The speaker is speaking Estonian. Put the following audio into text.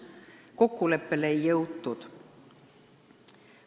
Kokkuleppele ei jõutud.